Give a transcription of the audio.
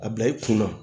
A bila i kun na